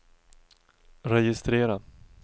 registrera